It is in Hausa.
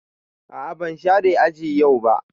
A'a ban share aji yau ba.